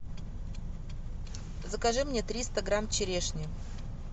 закажи мне триста грамм черешни